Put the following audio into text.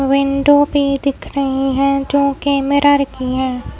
Window भी दिख रही है जो कि मिरर है।